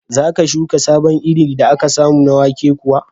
Za ka shuka sabon irin da aka samu na wake kuwa?